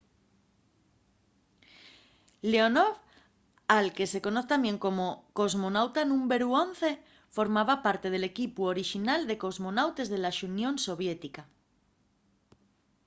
leonov al que se conoz tamién como cosmonauta númberu 11” formaba parte del equipu orixinal de cosmonautes de la xunión soviética